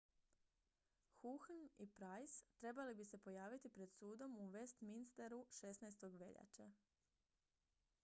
huhne i pryce trebali bi se pojaviti pred sudom u westminsteru 16. veljače